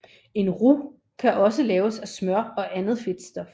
En roux kan også laves af smør og andet fedtstof